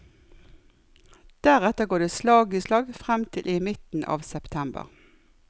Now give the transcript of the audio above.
Deretter går det slag i slag frem til i midten av september.